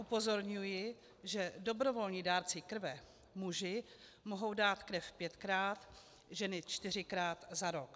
Upozorňuji, že dobrovolní dárci krve muži mohou dát krev pětkrát, ženy čtyřikrát za rok.